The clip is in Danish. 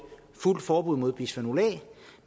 fuldt forbud mod bisfenol